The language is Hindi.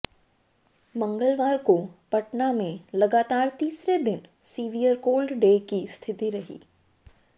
मंगलवार को पटना में लगातार तीसरे दिन सीवियर कोल्ड डे की स्थिति रही